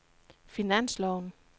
finansloven